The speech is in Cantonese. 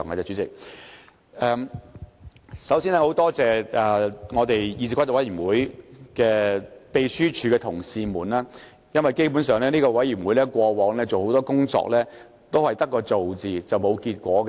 主席，首先，感謝參與議事規則委員會工作的秘書處同事，因為這個委員會過往做的很多工作都是白做，並無結果。